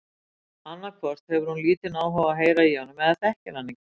Annað hvort hefur hún lítinn áhuga á að heyra í honum eða þekkir hann ekki.